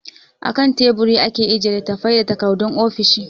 A kan Teburi ake ajiye littattafai da takardun ofishi.